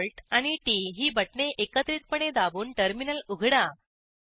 CTRLALTT ही बटणे एकत्रितपणे दाबून टर्मिनल उघडा